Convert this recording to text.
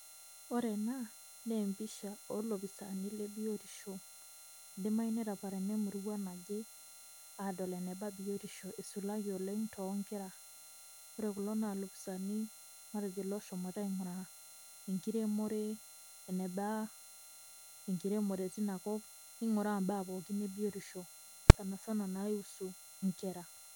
Ore ena naa empisha oolopisaani le biotisho, idimayu netaparana emurua naje adol eneba biotisho isulaki oleng' too nkera. Ore kulo naa lopisaani matejo looshomoita aing'uraa enkiremore eneba enkiremore tina kop, ning'uraa mbaa pookin e biotisho sana sana naihusu inkera.